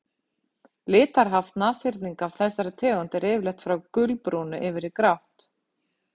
litarhaft nashyrninga af þessari tegund er yfirleitt frá gulbrúnu yfir í grátt